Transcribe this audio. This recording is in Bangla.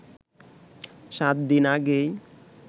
সাত দিন আগেই